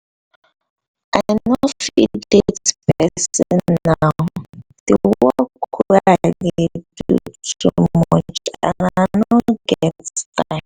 i no fit date person now the work wey i dey do too much and i no dey get time